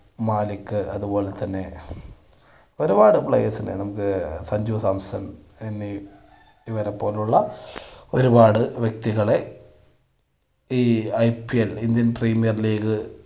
മാലിക്ക് അത് പോലെ തന്നെ ഒരുപാട് players നെ നമുക്ക് സഞ്ജു സാംസൺ ഇവനെ പോലുള്ള ഒരുപാട് വ്യക്തികളെ, ഈ IPL ഇന്ത്യൻ പ്രീമിയർ ലീഗ്